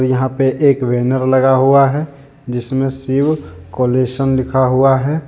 यहां पे एक बैनर लगा हुआ है जिसमें शिव कलेशन लिखा हुआ है।